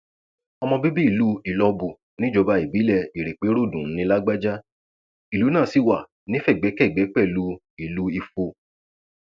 ọmọ bíbí ìlú ìlọbù níjọba ìbílẹ ìrèpéròdùn ní lágbájá ìlú náà sì wá nífẹgbẹkẹgbẹ pẹlú ìlú ifo